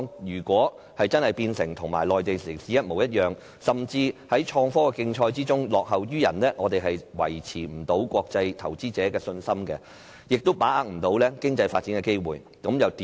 如果香港變得跟內地城市一模一樣，甚至在創科競賽中落後於人，我們便無法維持國際投資者的信心，而且無法把握經濟發展的機會。